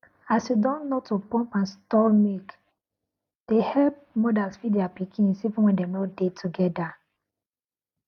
as you don know to pump and store milk dey help milk dey help mothers feed their pikins even when dem nor dey together